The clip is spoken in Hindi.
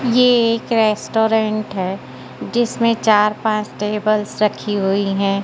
ये एक रेस्टोरेंट है जिसमें चार पांच टेबल्स रखी हुई हैं।